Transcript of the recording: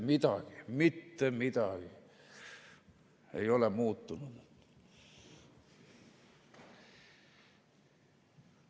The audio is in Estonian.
Mitte midagi ei ole muutunud.